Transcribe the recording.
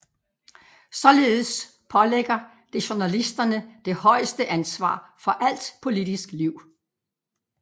Således pålægger det journalisterne det højeste ansvar for alt politisk liv